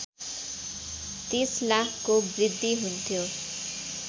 ३० लाखको वृद्धि हुन्थ्यो